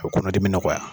A bɛ kɔnɔdimi nɔgɔya